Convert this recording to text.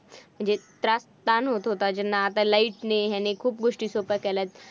म्हणजे त्रास ताण होत होता ज्यांना आता light ने ह्याने खूप गोष्टी सोप्या केल्या आहेत.